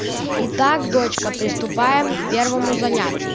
итак дочка приступаем к первому занятию